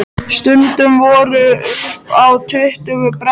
Stundum voru upp í tuttugu brennur.